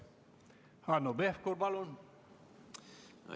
Hanno Pevkur, palun!